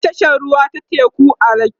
akwai tashar ruwa ta teku a lekki